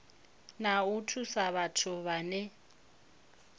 na u thusa vhathu vhane